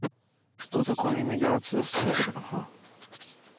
что такое иммиграция в сша